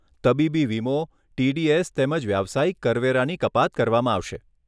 તબીબી વીમો, ટીડીએસ તેમજ વ્યાવસાયિક કરવેરાની કપાત કરવામાં આવશે.